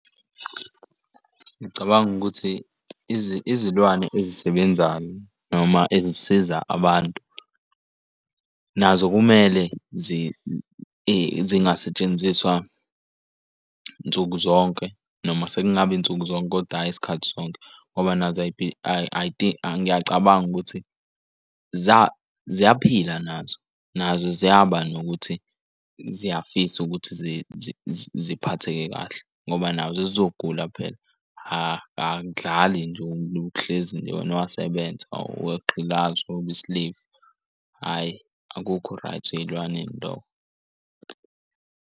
Ngicabanga ukuthi izilwane ezisebenzayo noma ezisiza abantu nazo kumele zibe zingasetshenziswa nsuku zonke, noma sekungaba nsuku zonke kodwa hhayi isikhathi sonke, ngoba nazo ngiyacabanga ukuthi ziyaphila nazo. Nazo ziyaba nokuthi ziyafsa ukuthi ziphatheke kahle ngoba nazo zizoguqula phela angdlali nje luhlezi nje wena wasebenza aweqi uba i-slave hhayi akukho right ey'lwaneni lokho.